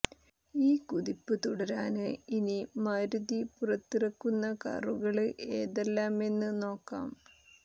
ഈ കുതിപ്പ് തുടരാന് ഇനി മാരുതി പുറത്തിറക്കുന്ന കാറുകള് ഏതെല്ലാമെന്ന് നോക്കാം